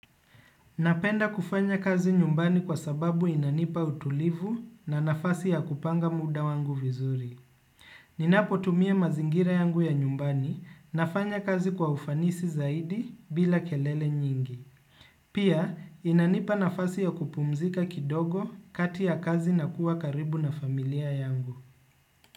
Napenda kufanya kazi nyumbani kwa sababu inanipa utulivu na nafasi ya kupanga muda wangu vizuri. Ninapotumia mazingira yangu ya nyumbani nafanya kazi kwa ufanisi zaidi bila kelele nyingi. Pia inanipa nafasi ya kupumzika kidogo kati ya kazi na kuwa karibu na familia yangu.